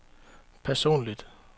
personligt